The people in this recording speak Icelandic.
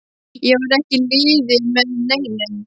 Ég var ekki í liði með neinum.